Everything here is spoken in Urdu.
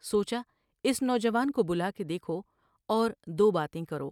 سوچا اس نوجوان کو بلا کے دیکھو اور دو باتیں کرو ۔